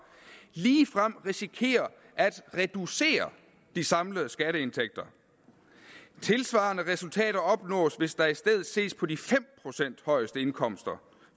ligefrem risikerer at reducere de samlede skatteindtægter tilsvarende resultater opnås hvis der i stedet ses på de fem procent højeste indkomster